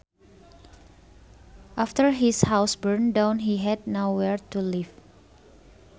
After his house burned down he had nowhere to live